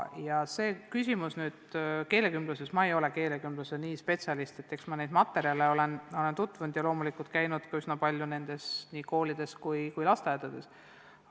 Ma ei ole keelekümbluse spetsialist, aga eks ma nende materjalidega olen tutvunud ja olen käinud ka üsna palju nendes koolides ja lasteaedades.